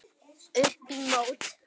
Upp í mót.